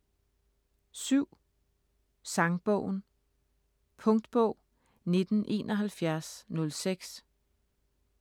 Sangbogen Punktbog 197106